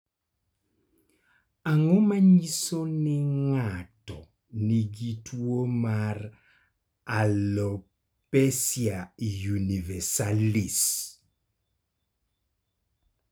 Ang�o ma nyiso ni ng�ato nigi tuo mar Alopecia universalis?